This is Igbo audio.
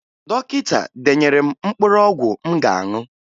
Dọkịta denyere m mkpụrụ ọgwụ m ga-aṅụ